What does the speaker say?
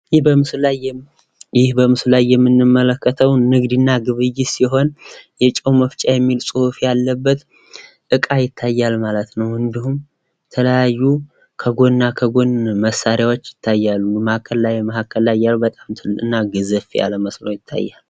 ይህ በምስሉ ላይ የምንመለከተው ንግድና ግብይት ሲሆን የጨው መፍጫ ሚል ከላይ የተፃፈበት እቃ ይታያል ማለት ነው ።እንዲሁም ከጎንና ከጎን የተለያዩ መሳሪያዎች ይታያሉ። መሀል ላይ ገዘፍ ያለ ይመስላል ።